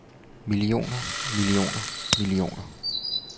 millioner millioner millioner